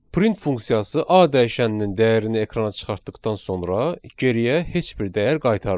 Print funksiyası A dəyişəninin dəyərini ekrana çıxartdıqdan sonra geriyə heç bir dəyər qaytarmır.